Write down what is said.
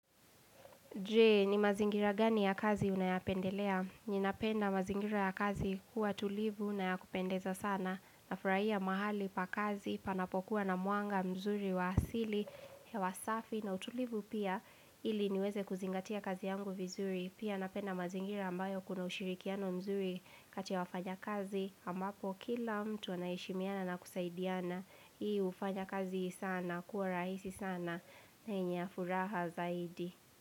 Jee, ni mazingira gani ya kazi unayapendelea? Ninapenda mazingira ya kazi kuwa tulivu nayakupendeza sana. Nafurahia mahali pa kazi, panapokuwa na mwanga mzuri wa asili hewasafi na utulivu pia ili niweze kuzingatia kazi yangu vizuri. Pia napenda mazingira ambayo kuna ushirikiano mzuri kati ya wafanya kazi. Ambapo kila mtu anaheshimiana na kusaidiana. Hii ufanya kazi sana, kuwa rahisi sana. Na yenye furaha zaidi.